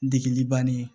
Degeli bannen